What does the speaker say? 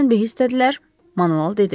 Birdən-birə istədilər, Manuel dedi.